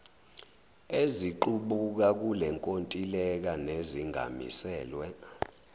eziqubuka kulenkontileka nezingamiselwe